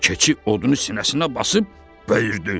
Keçi odunu sinəsinə basıb dedi: